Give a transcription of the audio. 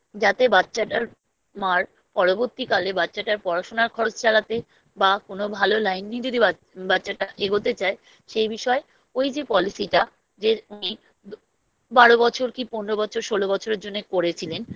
যাতে বাচ্চাটার মার পরবর্তীকালে বাচ্চাটার পড়াশুনার খরচ চালাতে বা কোনো Line নিতে বাচ্চাটা এগোতে চায় সেই বিষয়ে ওই যে Policy টা যে উনি বারো বছর কি পনেরো বছর ষোলো বছরের জন্য করেছিলেন